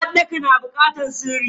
Uwarɗaka yana bukatar sirri.